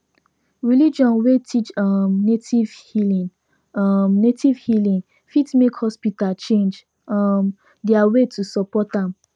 religion wey teach um native healing um native healing fit make hospital change um their way to support am